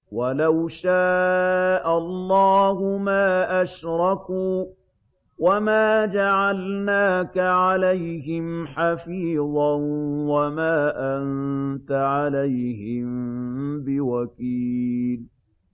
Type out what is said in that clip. وَلَوْ شَاءَ اللَّهُ مَا أَشْرَكُوا ۗ وَمَا جَعَلْنَاكَ عَلَيْهِمْ حَفِيظًا ۖ وَمَا أَنتَ عَلَيْهِم بِوَكِيلٍ